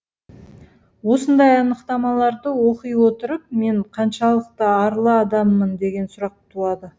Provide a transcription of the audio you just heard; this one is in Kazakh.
осындай анықтамаларды оқи отырып мен қаншалықты арлы адаммын деген сұрақ туады